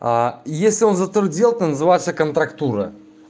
а если он затвердел то называется контрактура